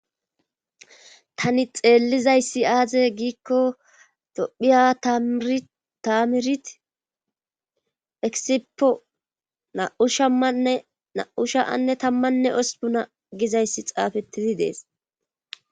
tani xeellizayssi aaze giikko dophiya tamirit eksipo naushamanne na7u sha anne tammanne ospu na gizayssi xaafettizi dees